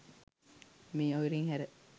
මේ අයුරින් හැර